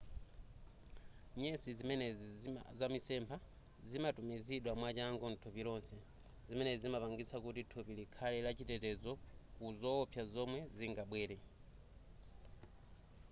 nyesi zimenezi za mitsempha zimatumizidwa mwachangu mthupi lonse zimenezi zimapangitsa kuti thupi likhale la chitetezo ku zoopsa zomwe zingabwere